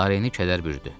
Lareni kədər bürüdü.